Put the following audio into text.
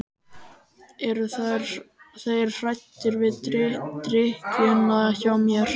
Eru þeir hræddir við drykkjuna hjá mér?